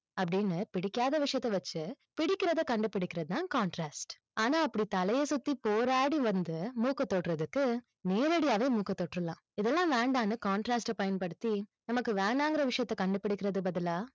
அப்படின்னு பிடிக்காத விஷயத்தை வச்சு, பிடிக்கிறத கண்டுபிடிக்கிறது தான் contrast ஆனா அப்படி தலைய சுத்தி போராடி வந்து, மூக்கை தொடுறதுக்கு, நேரடியாவே மூக்கை தொட்டுறலாம். இதெல்லாம் வேண்டாம்னு contrast பயன்படுத்தி, நமக்கு வேணாங்கிற விஷயத்தை கண்டுபிடிக்கறதுக்கு பதிலா,